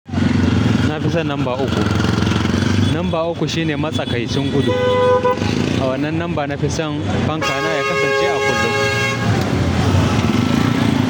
Na fi son lamba uku. Lamba ukku shine matsakaitin gudu. A wannan number nafi son fankana ya kasance a kunne.